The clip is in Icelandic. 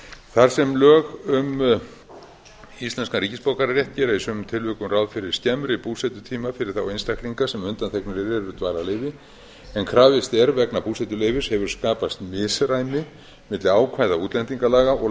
þar sem lög um íslenskan ríkisborgararétt gera í sumum tilvikum ráð fyrir skemmri búsetutíma fyrir þá einstaklinga sem undanþegnir eru dvalarleyfi en krafist er vegna búsetuleyfis hefur skapast misræmi milli ákvæða útlendingalaga og